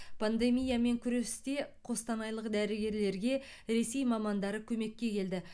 пандемиямен күресте қостанайлық дәрігерлерге ресей мамандары көмекке келді